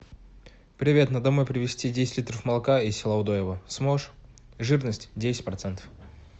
привет на домой привезти десять литров молока из села удоево сможешь жирность десять процентов